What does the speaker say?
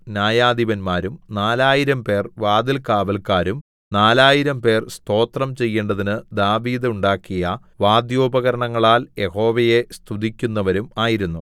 ന്യായാധിപന്മാരും നാലായിരംപേർ വാതിൽകാവല്ക്കാരും നാലായിരംപേർ സ്തോത്രം ചെയ്യേണ്ടതിന് ദാവീദ് ഉണ്ടാക്കിയ വാദ്യോപകരണങ്ങളാൽ യഹോവയെ സ്തുതിക്കുന്നവരും ആയിരുന്നു